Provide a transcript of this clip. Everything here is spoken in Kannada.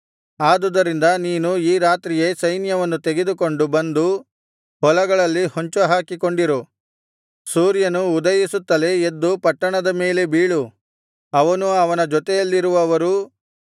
ಆದುದರಿಂದ ನೀನು ಈ ರಾತ್ರಿಯೇ ಸೈನ್ಯವನ್ನು ತೆಗೆದುಕೊಂಡು ಬಂದು ಹೊಲಗಳಲ್ಲಿ ಹೊಂಚುಹಾಕಿಕೊಂಡಿರು ಸೂರ್ಯನು ಉದಯಿಸುತ್ತಲೇ ಎದ್ದು ಪಟ್ಟಣದ ಮೇಲೆ ಬೀಳು ಅವನೂ ಅವನ ಜೊತೆಯಲ್ಲಿರುವವರೂ